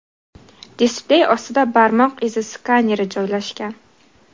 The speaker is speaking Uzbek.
Displey ostida barmoq izi skaneri joylashgan.